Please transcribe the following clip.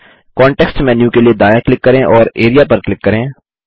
context menu के लिए दायाँ क्लिक करें और एआरईए पर क्लिक करें